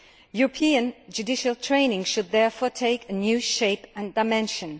European judicial training should therefore take a new shape and dimension.